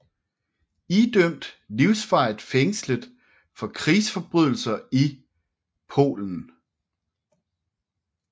Idømt livsvarigt fængslet for krigsforbrydelser i Polen